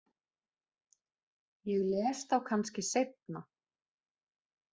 Ég les þá kannski seinna.